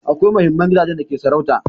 Akwai mahinmar gidajen da ke sarauta